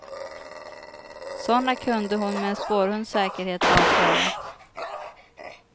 Såna kunde hon med en spårhunds säkerhet avslöja.